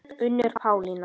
Unnur Pálína.